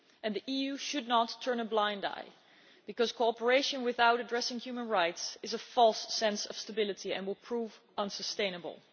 The EU should not turn a blind eye, because cooperation without addressing human rights gives a false sense of stability and will prove unsustainable.